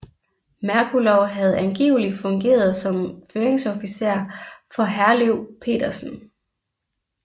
Merkulov havde angiveligt fungeret som føringsofficer for Herløv Petersen